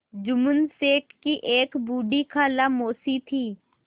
जुम्मन शेख की एक बूढ़ी खाला मौसी थी